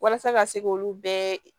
Walasa ka se k'olu bɛɛ